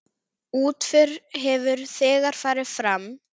Útför hefur þegar farið fram.